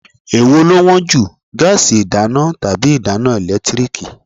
Èwo ló wón jù, gáásì ìdáná tàbí ìdáná ẹ̀lẹ́tíríkì?